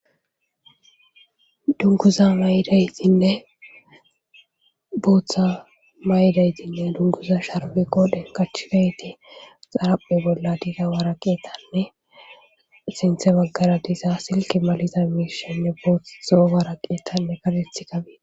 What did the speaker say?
Dunuguza mayidatinne bothaa matidageti dunguza sharibe qodheni qachidayiti xariphe bolla wariqatene sintha baggara diza silik maliza mishayi bothu zoo betesi